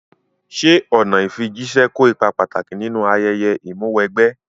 Ṣé ọ̀nà ìfijíṣẹ́ kó ipa pàtàkì nínú ayẹyẹ Ìmúw'ẹgbẹ́?